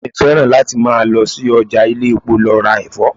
Ìyá mi fẹ́ràn láti máa lọ sí ọjà ilé-epo lọ ra Ẹ̀fọ́.